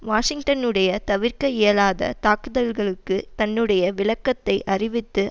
வாஷிங்டனுடைய தவிர்க்க இயலாத தாக்குதல்களுக்கு தன்னுடைய விளக்கத்தை அறிவித்து